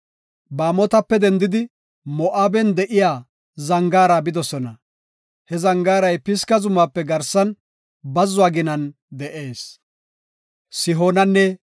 Baamotape dendidi, Moo7aben de7iya zangaara bidosona; he zangaaray Pisga zumaape garsan bazzuwa ginan de7ees.